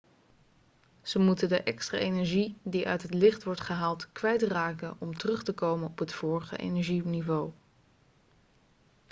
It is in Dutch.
ze moeten de extra energie die uit het licht wordt gehaald kwijtraken om terug te komen op het vorige energieniveau